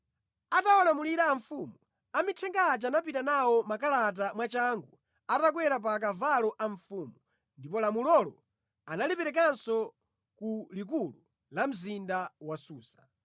Atawalamulira a mfumu, amithenga aja anapita nawo makalata mwachangu, atakwera pa akavalo a mfumu. Ndipo lamulolo analiperekanso ku likulu la mzinda wa Susa.